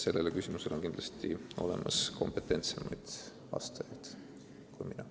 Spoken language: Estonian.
Sellele küsimusele on kindlasti kompetentsemaid vastajad kui mina.